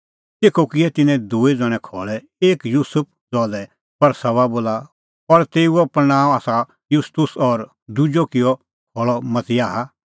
तेखअ किऐ तिन्नैं दूई ज़ण्हैं खल़ै एक युसुफ ज़हा लै बरसबा बोला और तेऊओ पल़णांअ आसा युस्तुस और दुजअ किअ खल़अ मतियाह